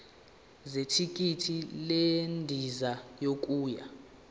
zethikithi lendiza yokuya